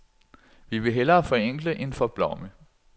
Vi vil hellere forenkle end forblomme.